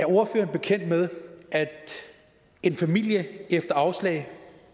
ordføreren bekendt med at en familie efter afslag